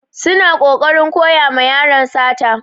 Suna kokarin koya ma yaron sata.